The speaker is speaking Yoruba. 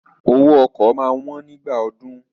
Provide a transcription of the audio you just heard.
Owó ọkọ̀ máa wón nígbà ọdún.